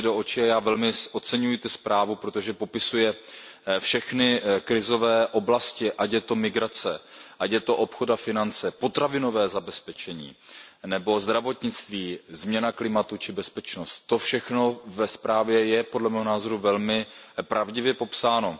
pravdě do očí a já velmi oceňuji tu zprávu, protože popisuje všechny krizové oblasti, ať je to migrace, ať je to obchod a finance, potravinové zabezpečení nebo zdravotnictví, změna klimatu, či bezpečnost, to všechno ve zprávě je podle mého názoru velmi pravdivě popsáno.